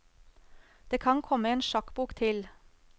Det kan komme en sjakkbok til.